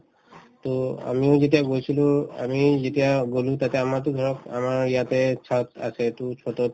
to আমিও যেতিয়া গৈছিলো আমি যেতিয়া গলো তাতে আমাৰতো ধৰক আমাৰ ইয়াতে chhatআছে to chhatতত